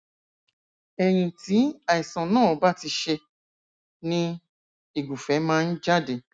ẹyìn tí àìsàn náà bá ti ṣe ni ìgùfẹ máa ń jáde